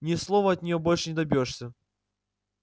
ни слова от нее больше не добьёшься